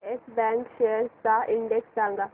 yes Bank shares चा index सांगा